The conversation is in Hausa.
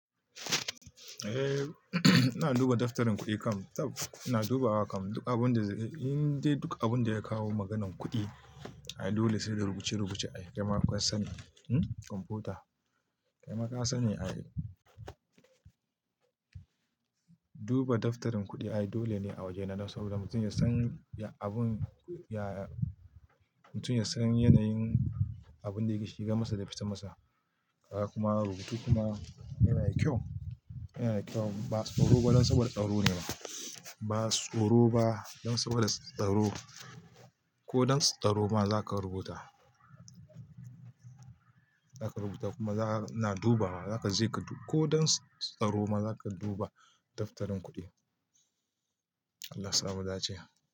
Eh, ina duba daftarin kuɗi kam. Tab ina dubawa kam duk abin da, indai duk abin da ya kawo maganan kuɗi. Ai dole sai da rubuce-rubuce a jama'an sani, hmm komfuta. Kaima kasani ai duba daftarin kuɗi ai dole ne a waje na saboda mutum ya san abun ya, mutum ya san yanayin abun da yake shiga masa da fita masa. Kaga kuma rubutu kuma yana da kyau, yana da kyau ba tsoro ba dan saboda tsaro ne ba. Ba tsoro ba dan saboda tsaro. Ko don tsaro ma zaka rubuta. Za ka rubuta kuma ina dubawa, ko don tsaro ma zaka duba daftarin kudin Allah sa mudace.